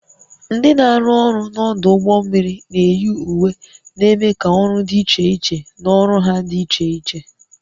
Ndị na-arụ ọrụ n'ọdụ ụgbọ mmiri na-eyi uwe na-eme ka ọrụ dị iche iche na ọrụ ha dị iche iche